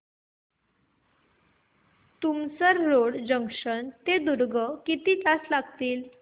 Tumsar road junction ते दुर्ग किती तास लागतील